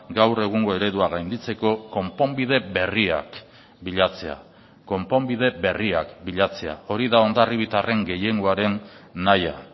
gaur egungo eredua gainditzeko konponbide berriak bilatzea konponbide berriak bilatzea hori da hondarribitarren gehiengoaren nahia